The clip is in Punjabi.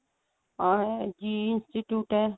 RSG institute A